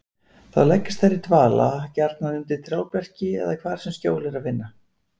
Þá leggjast þær í dvala, gjarnan undir trjáberki eða hvar sem skjól er að finna.